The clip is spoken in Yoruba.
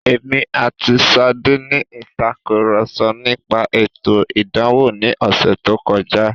Èmi àti Ṣadé ní ìtàkurọ̀sọ nípa ètò ìdánwò ní ọ̀sẹ̀ tó kọjá.